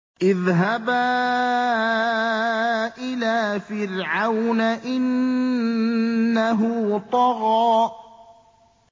اذْهَبَا إِلَىٰ فِرْعَوْنَ إِنَّهُ طَغَىٰ